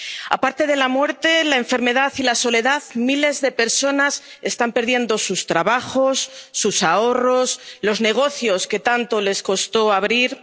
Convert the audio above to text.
Aparte de la muerte, la enfermedad y la soledad, miles de personas están perdiendo sus trabajos, sus ahorros, los negocios que tanto les costó abrir.